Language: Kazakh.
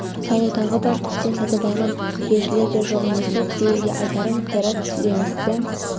салу тағы бар тіптен сатып алған деушілер де жоқ емес сол кісілерге айтарым қайрат жеңісті